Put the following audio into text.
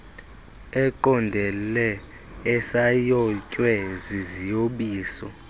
eqondele esayotywe ziziyobisi